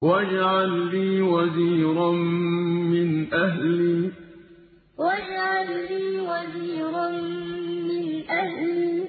وَاجْعَل لِّي وَزِيرًا مِّنْ أَهْلِي وَاجْعَل لِّي وَزِيرًا مِّنْ أَهْلِي